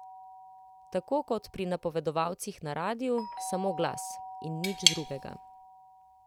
Tako kot pri napovedovalcih na radiu, samo glas in nič drugega.